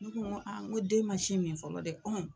Ne ko n ko n ko den man sin min fɔlɔ dɛ.